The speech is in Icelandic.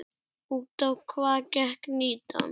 Út á hvað gekk mýtan?